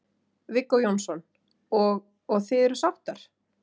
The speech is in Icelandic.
Viggó Jónsson: Og, og þið eruð sáttar?